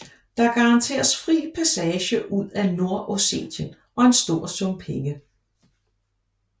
De garanteres fri passage ud af Nordossetien og en stor sum penge